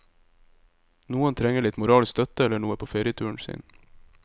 Noen trenger litt moralsk støtte eller noe på ferieturen sin.